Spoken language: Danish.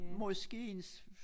Måske en